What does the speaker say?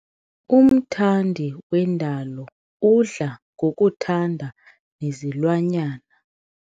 Umthandi wendalo udla ngokuthanda nezilwanyana.